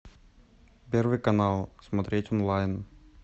первый канал смотреть онлайн